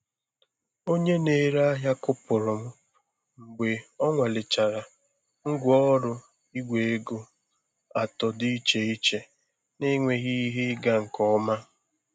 Onye na-ere ihe kụpụrụ m mgbe ọ nwalechara ngwaọrụ Igwe ego atọ dị iche iche na-enweghị ihe ịga nke ọma.